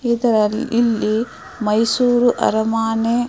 ಈ ತರಹ ಇಲ್ಲಿ ಮೈಸೂರ್ ಆರಮನೇ --